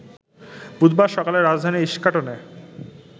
বুধবার সকালে রাজধানীর ইস্কাটনে